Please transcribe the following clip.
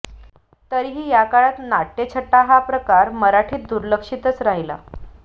तरीही या काळात नाट्यछटा हा प्रकार मराठीत दुर्लक्षितच राहिला